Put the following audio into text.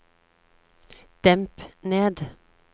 demp ned